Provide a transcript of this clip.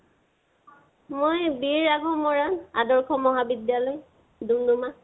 মই BA আকৌ মৰাণ আদৰ্শ মহাবিদ্য়ালয়, দুম্দুমা।